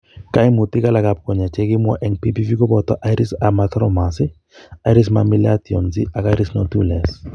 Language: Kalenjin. Kaimutik alak ab konyek chekikimwa eng' ppv kobooto iris hamartomas, iris mammillations and iris nodules